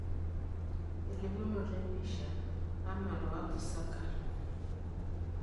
Elimunoto empisha ,Amal o Apu Sarker.